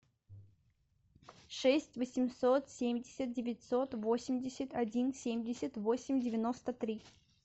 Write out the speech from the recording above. шесть восемьсот семьдесят девятьсот восемьдесят один семьдесят восемь девяносто три